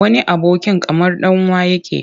Wani abokin kamar ɗan uwa yake.